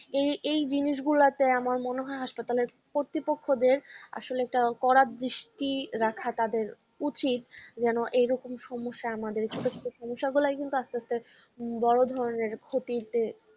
ই এই জিনিসগুলোতে আমার মনে হয় হাসপাতালের কর্তৃপক্ষদের আসলে একটা করা দৃষ্টি রাখা তাদের উচিত যেন এরকম সমস্যা আমাদেরকে সমস্যা গুলুই কিন্তু আস্তে আস্তে বড় ধরনের ক্ষতিতে